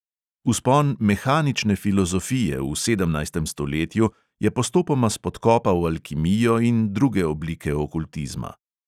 Vzpon mehanične filozofije v sedemnajstem stoletju je postopoma spodkopal alkimijo in druge oblike okultizma.